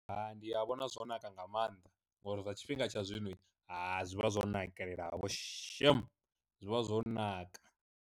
Hai, ndi a vhona zwo naka nga maanḓa ngori zwa tshifhinga tsha zwino ha zwi vha zwo nakelela vho shem, zwivha zwo naka.